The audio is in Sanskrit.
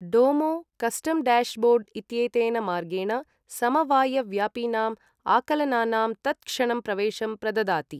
डोमो, कस्टम् डैशबोर्ड् इत्येतेन मार्गेण समवायव्यापिनां आकलनानां तत्क्षणं प्रवेशं प्रददाति।